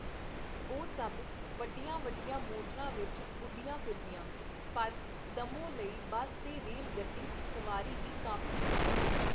ਉਹ ਸਭ ਵੱਡੀਆਂ-ਵੱਡੀਆਂ ਮੋਟਰਾਂ ਵਿਚ ਉਡਦੀਆਂ-ਫਿਰਦੀਆਂ, ਪਰ ਦੱਮੋ ਲਈ ਬੱਸ ਤੇ ਰੇਲ-ਗੱਡੀ ਦੀ ਸਵਾਰੀ ਹੀ ਕਾਫੀ ਸੀ.